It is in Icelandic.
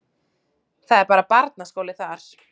Það er bara barnaskóli þar.